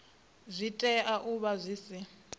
tea u vha zwi si